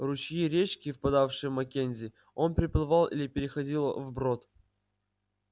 ручьи речки впадавшие в маккензи он переплывал или переходил вброд